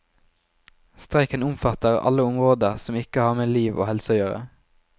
Streiken omfatter alle områder som ikke har med liv og helse å gjøre.